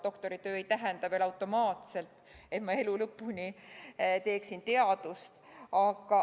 Doktoritöö ei tähenda veel automaatselt seda, et ma teeksin elu lõpuni teadust.